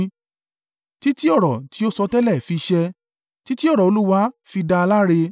títí ọ̀rọ̀ tí ó sọtẹ́lẹ̀ fi ṣẹ títí ọ̀rọ̀ Olúwa fi dá a láre.